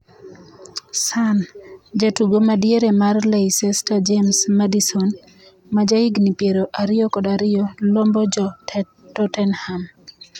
(Sun) Jatugo madiere mar Leicester James Maddison, ma jahigni piero ariyo kod ariyo, lombo jo Tottenham.